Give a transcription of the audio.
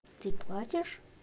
ты платишь